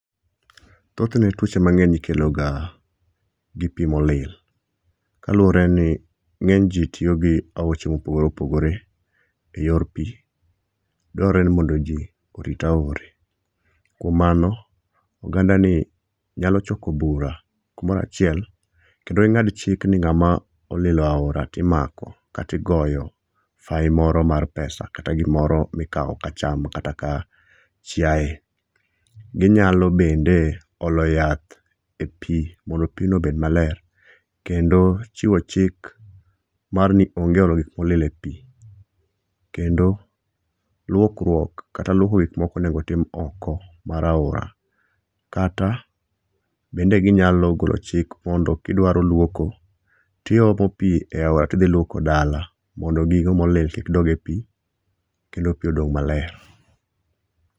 Thothne tuoche mangeny ikeloga gi pi molil kaluwore ni nge'j ji tiyo gi aoche ma opogore opogore e yor pi drawre ni mondo ji orit aore kuom mano, ogandani nyalo choko bura kumoro achiel kendo ingad chik ni ngama olilo aora to imako kata igoyo fayi moro mar pesa kata gimoro mikawo ka acham kata kaa chiaye, ginyalo bende olo yath e pi mondo pigno obed maler kendo chiwo chik marni ni onge olo gik molil e pi kendo luokruok kata luoko gik moko onego tim oko mar aora kata bende ginyalo golo chik mondo kidwaro luoko tiomo pi e aora tidhi luoko dala mondo gigo molil ki doge pi kendo pi odog maler